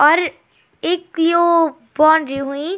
और इक यो बाउंड्री हुईं।